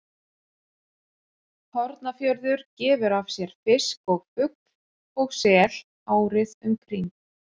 Hornafjörður gefur af sér fisk og fugl og sel árið um kring.